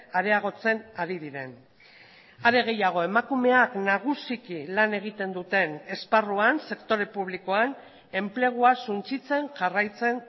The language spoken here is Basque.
areagotzen ari diren are gehiago emakumeak nagusiki lan egiten duten esparruan sektore publikoan enplegua suntsitzen jarraitzen